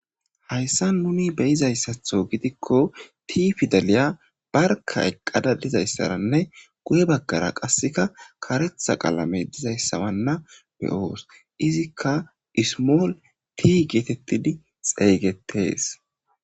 hayssa nuni beyizayssatho gidikko tii fidaliya barka eqqada dizayssaranne guye baggara qasseka karetha qalame dizayssabanna beyoos izikka ismool tii geetettidi xeeygettees